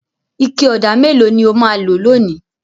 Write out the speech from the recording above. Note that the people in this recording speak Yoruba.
Ike ọ̀dà mélòó ni ó máa lò lónìí?